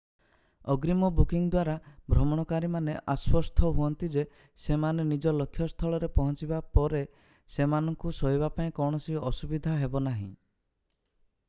ଅଗ୍ରୀମ ବୁକିଙ୍ଗ୍ ଦ୍ୱାରା ଭ୍ରମଣକାରୀମାନ ଆଶ୍ୱସ୍ତ ହୁଅନ୍ତି ଯେ ସେମାନେ ନିଜ ଲକ୍ଷ୍ୟସ୍ଥଳରେ ପହଞ୍ଚିବା ପରେ ସେମାନଙ୍କୁ ଶୋଇବା ପାଇଁ କୌଣସି ଅସୁବିଧା ହେବନାହିଁ